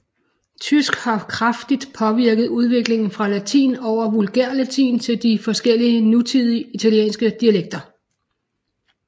Tysk har kraftigt påvirket udviklingen fra latin over vulgærlatin til de forskellige nutidige italienske dialekter